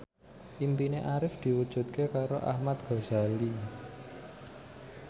impine Arif diwujudke karo Ahmad Al Ghazali